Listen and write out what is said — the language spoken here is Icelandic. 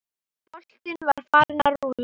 Boltinn var farinn að rúlla.